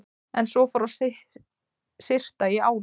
En svo fór að syrta í álinn.